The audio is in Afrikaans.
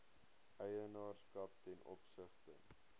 eienaarskap ten opsigte